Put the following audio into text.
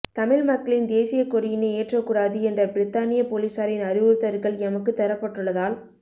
தமிழ்மக்களின் தேசிய கொடியினை ஏற்றக் கூடாது என்ற பிரித்தானிய பொலிசாரின் அறிவுறுத்தல்கள் எமக்குத் தரப்பட்டுள்ளதால்